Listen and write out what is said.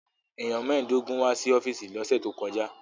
Èèyàn mẹ́ẹ̀ẹ́dógún wá sí ọ́fíìsì lọ́sẹ̀ tó kọjá